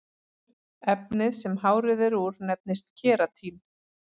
efnið sem hárið er úr nefnist keratín